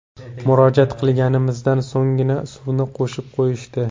Murojaat qilganimizdan so‘nggina, suvni qo‘shib qo‘yishdi.